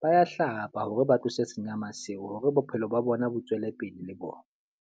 ba ya hlapa hore ba tlose senyama seo hore bophelo ba bona bo tswele pele le bona.